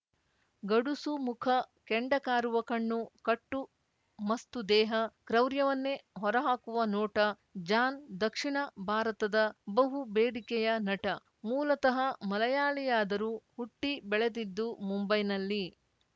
ಗಡುಸು ಮುಖ ಕೆಂಡ ಕಾರುವ ಕಣ್ಣು ಕಟ್ಟು ಮಸ್ತು ದೇಹ ಕ್ರೌರ್ಯವನ್ನೇ ಹೊರ ಹಾಕುವ ನೋಟ ಜಾನ್‌ ದಕ್ಷಿಣ ಭಾರತದ ಬಹು ಬೇಡಿಕೆಯ ನಟ ಮೂಲತಃ ಮಲಯಾಳಿಯಾದರೂ ಹುಟ್ಟಿಬೆಳೆದಿದ್ದು ಮುಂಬೈನಲ್ಲಿ